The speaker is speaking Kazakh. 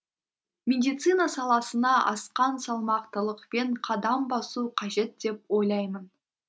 медицина саласына асқан салмақтылықпен қадам басу қажет деп ойлаймын